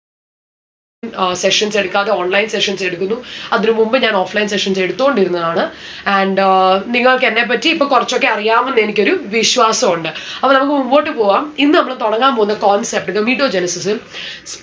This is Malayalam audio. ഏർ sessions എടുക്കാതെ online sessions എടുക്കുന്നു. അതിന് മുൻപ് ഞാൻ offline sessions എടുത്തോണ്ടിരുന്നതാണ്. and ഏർ നിങ്ങൾക്കെന്നെ പറ്റി ഇപ്പൊ കൊറച്ചൊക്കെ അറിയാം എന്ന് എനിക്കൊരു വിശ്വാസ ഉണ്ട്. അപ്പൊ നമ്മുക്ക് മുമ്പോട്ട് പോവാം. ഇന്ന് നമ്മള് തൊടങ്ങാൻ പോവുന്ന concept Gametogenesis ഉം